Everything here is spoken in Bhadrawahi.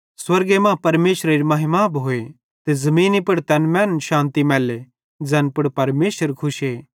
स्वर्गे मां परमेशरेरी महिमा भोए ते ज़मीनी पुड़ तैन मैनन शान्ति मैल्ले ज़ैन पुड़ परमेशर खुशे